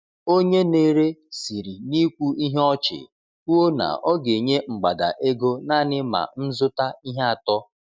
Onye na-ere siri n’ikwu ihe ọchị kwuo na ọ ga-enye mgbada ego naanị ma m zụta ihe atọ.